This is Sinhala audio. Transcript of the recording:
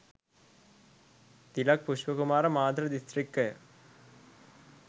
තිලක් පුෂ්පකුමාර මාතර දිස්ත්‍රික්කය